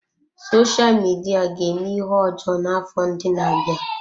Sosha Midia ga-eme ihe ọjọọ n'afọ ndị na-abịa.